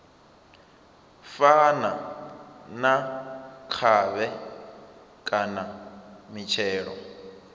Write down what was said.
fana na khovhe kana mitshelo